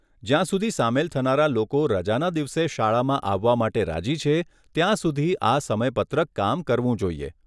જ્યાં સુધી સામેલ થનારા લોકો રજાના દિવસે શાળામાં આવવા માટે રાજી છે, ત્યાં સુધી આ સમયપત્રક કામ કરવું જોઈએ.